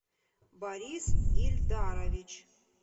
борис ильдарович